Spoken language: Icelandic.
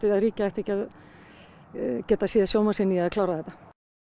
að ríkið ætti ekki að geta séð sóma sinn í að klára þetta